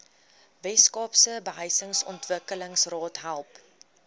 weskaapse behuisingsontwikkelingsraad help